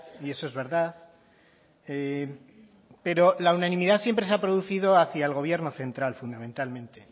y eso es verdad pero la unanimidad siempre se ha producido hacía el gobierno central fundamentalmente